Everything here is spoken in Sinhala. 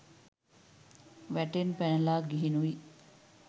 වැටෙන් පැනලා ගිහිනුයි.